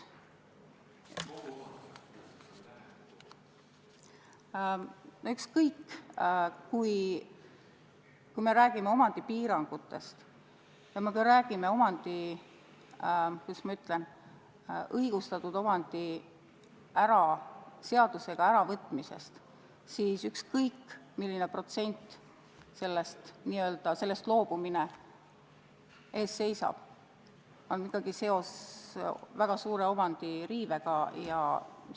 Noh, ükskõik, kui me räägime omandipiirangutest ja kui me räägime õigustatud omandi, kuidas ma ütlen, seadusega äravõtmisest, siis ükskõik kui suurel protsendil omandist n-ö loobumine ees seisab, on ikkagi tegu väga suure omandiõiguse riivega.